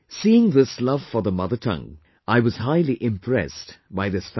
Seeing this love for the mother tongue, I was highly impressed by this family